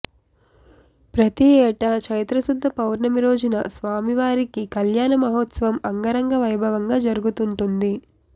ప్రతియేటా చైత్రశుద్ధ పౌర్ణమి రోజున స్వామివారికి కళ్యాణ మహోత్సవం అంగరంగ వైభవంగా జరుగుతుంటుంది